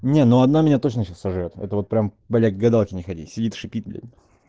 не ну она меня точно скажи это вот прям блять к гадалке не ходи сидит шипит блять